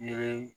I bɛ